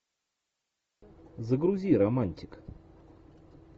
загрузи романтик